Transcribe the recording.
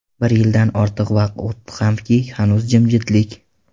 Bir yildan ortiq vaqt o‘tdi hamki, hanuz jimjitlik.